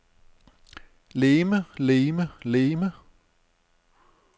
legeme legeme legeme